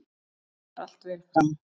Það fór allt vel fram.